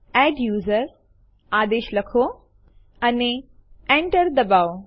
copy થયેલું જોવા માટે લખો કેટ ટેસ્ટ2 અને Enter દબાવો